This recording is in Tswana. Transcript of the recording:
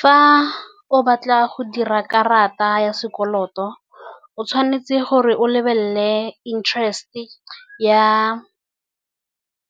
Fa o batla go dira karata ya sekoloto, o tshwanetse gore o lebelele